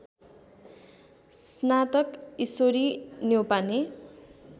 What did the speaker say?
स्नातक ईश्वरी न्यौपाने